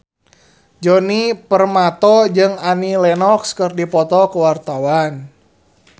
Djoni Permato jeung Annie Lenox keur dipoto ku wartawan